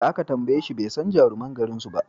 Da aka tambayeshi bai san jaruman garin suba